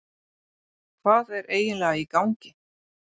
Hvað er eiginlega í gangi?